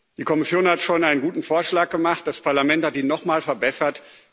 Die Kommission hat schon einen guten Vorschlag gemacht, das Parlament hat ihn noch mal verbessert.